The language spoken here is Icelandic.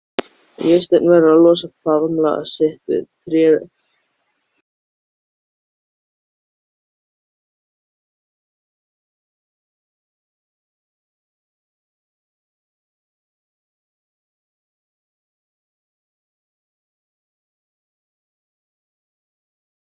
Snæhólm, hvað er á dagatalinu mínu í dag?